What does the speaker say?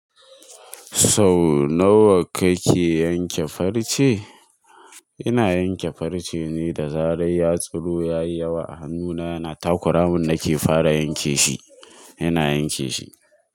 So nawa kake yanke farce? Ina yanke farce ne da zarar ya tsiro ya yi yawa. Hannuna yana takura mun nake fara yanke shi, ina yanke shi.